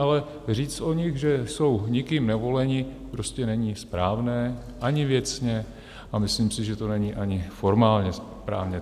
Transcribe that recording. Ale říct o nich, že jsou nikým nevoleni, prostě není správné ani věcně, a myslím si, že to není ani formálně správně.